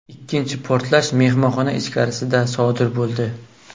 Ikkinchi portlash mehmonxona ichkarisida sodir bo‘ldi.